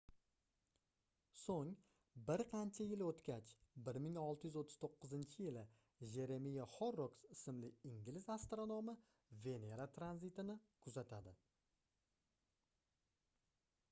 soʻng bir qancha yil oʻtgach 1639-yili jeremiya horroks ismli ingliz astronomi venera tranzitini kuzatadi